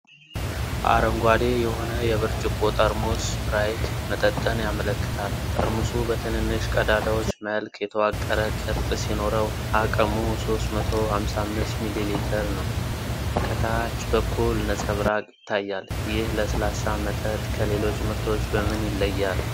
አረንጓዴ የሆነ የብርጭቆ ጠርሙስ ስፕራይት መጠጥን ያመለክታል። ጠርሙሱ በትንንሽ ቀዳዳዎች መልክ የተዋቀረ ቅርጽ ሲኖረው፣ አቅሙ 355 ሚሊ ሊትር ነው። ከታች በኩል ነጸብራቅ ይታያል። ይህ ለስላሳ መጠጥ ከሌሎች ምርቶች በምን ይለያል?